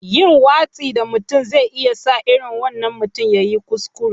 Yin watsi da mutum zai iya sa irin wannan mutumin ya yi kuskure.